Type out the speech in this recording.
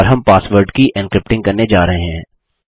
और हम पासवर्ड की एन्क्रिप्टिंग करने जा रहे हैं